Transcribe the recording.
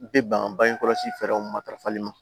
Bɛ ban bange kɔlɔsi fɛ fɛɛrɛw matarafali ma